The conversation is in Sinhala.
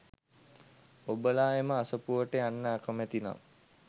ඔබලා එම අසපුවට යන්න අකැමති නම්